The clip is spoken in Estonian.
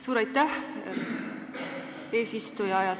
Suur aitäh, eesistuja!